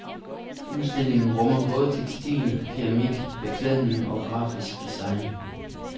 Udstillingen rummer både textil, keramik, beklædning og grafisk design.